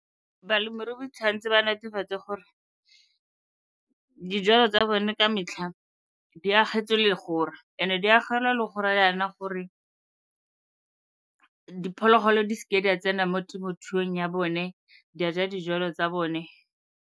Balemirui ba tshwanetse ba netefatse gore dijalo tsa bone ka metlha di agetswe legora. And-e di agelwa legora yana gore diphologolo di seke di a tsena mo temothuong ya bone, di a ja dijalo tsa bone.